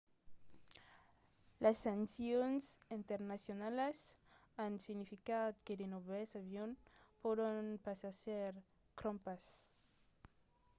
las sancions nternacionalas an significat que de novèls avions pòdon pas èsser crompats